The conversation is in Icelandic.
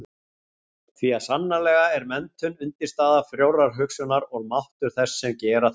Því að sannarlega er menntun undirstaða frjórrar hugsunar og máttur þess sem gera þarf.